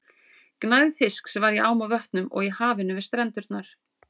Gnægð fisks var í ám og vötnum og í hafinu við strendurnar.